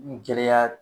Gɛlɛya